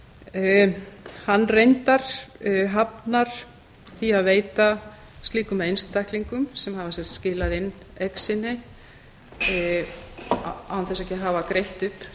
kröfunum hann reyndar hafnar því að veita slíkum einstaklingum sem hafa skilað inn eign sinni án þess að andvirðið hafi